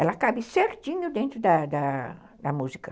Ela cabe certinho dentro da da da música.